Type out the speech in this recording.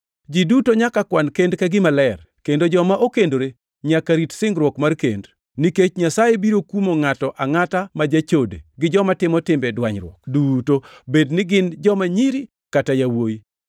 Ji duto nyaka kwan kend kaka gima ler kendo joma okendore nyaka rit singruok mar kend. Nikech Nyasaye biro kumo ngʼato angʼata ma jachode, gi joma timo timbe dwanyruok duto bed ni gin joma nyiri kata yawuowi.